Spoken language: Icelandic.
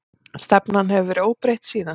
Stefnan hefur verið óbreytt síðan.